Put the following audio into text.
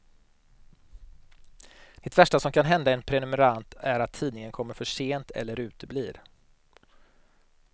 Det värsta som kan hända en prenumerant är att tidningen kommer för sent eller uteblir.